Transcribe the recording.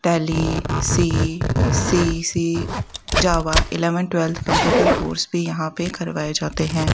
Tally C C C Java eleventh twelfth computer course भी यहां पे करवाए जाते हैं।